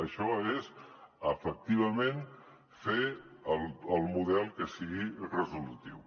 això és efectivament fer el model que sigui resolutiu